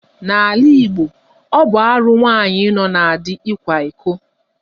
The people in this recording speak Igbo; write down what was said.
N'ala Igbo, ọ bụ arụ nwaanyị nọ na di ịkwa iko.